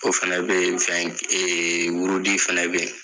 O fɛnɛ be yen ee wurudi fɛnɛ be yen.